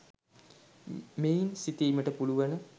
මෙයින් සිතීමට පුළුවන.